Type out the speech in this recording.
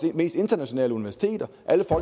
mest internationale universiteter